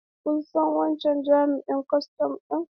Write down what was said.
Kun san wancan jami'in kwastan ɗin?